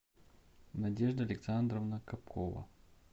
надежда александровна капкова